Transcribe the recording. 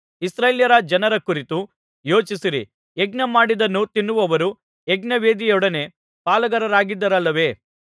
ಇಸ್ರಾಯೇಲ್ಯ ಜನರ ಕುರಿತು ಯೋಚಿಸಿರಿ ಯಜ್ಞಮಾಡಿದ್ದನ್ನು ತಿನ್ನುವವರು ಯಜ್ಞವೇದಿಯೊಡನೆ ಪಾಲುಗಾರರಾಗಿದ್ದಾರಲ್ಲವೇ